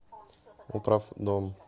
управдом